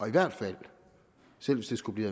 i hvert fald selv hvis det skulle blive